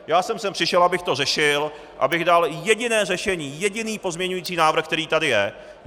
Já jsem sem přišel, abych to řešil, abych dal jediné řešení, jediný pozměňující návrh, který tady je.